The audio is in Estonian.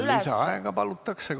Lisaaega palutakse.